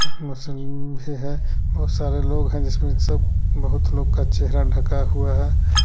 भी है बहुत सारे लोग हैं जिसमें सब बहुत लोग का चेहरा ढका हुआ है।